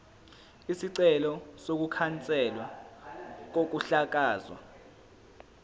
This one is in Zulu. isicelo sokukhanselwa kokuhlakazwa